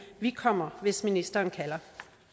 vi kommer hvis ministeren kalder